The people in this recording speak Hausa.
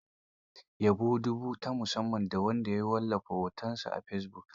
Yabo dubu ta samu da ta wallafa hotonta a fesibuk.